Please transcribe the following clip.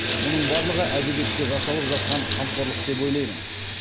мұның барлығы әдебиетке жасалып жатқан қамқорлық деп ойлаймын